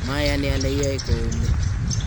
mayani ale iyoe koumi